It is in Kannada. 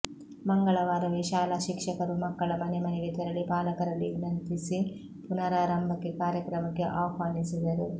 ಮಂಗಳವಾರವೆ ಶಾಲಾ ಶಿಕ್ಷಕರು ಮಕ್ಕಳ ಮನೆ ಮನೆಗೆ ತೆರಳಿ ಪಾಲಕರಲ್ಲಿ ವಿನಂತಿಸಿ ಪುನರಾರಂಭ ಕಾರ್ಯಕ್ರಮಕ್ಕೆ ಆಹ್ವಾನಿಸಿದರು